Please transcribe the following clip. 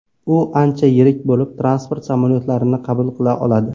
U ancha yirik bo‘lib, transport samolyotlarini qabul qila oladi.